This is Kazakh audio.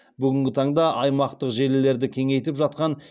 бүгінгі таңда аймақтық желілерді кеңейтіп жатқан